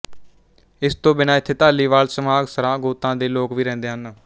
ਇਸ ਤੋਂ ਬਿਨਾਂ ਇੱਥੇ ਧਾਲੀਵਾਲ ਸਮਾਘ ਸਰਾਂ ਗੋਤਾਂ ਦੇ ਲੋਕ ਵੀ ਰਹਿੰਦੇ ਹਨ